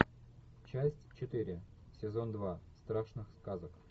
часть четыре сезон два страшных сказок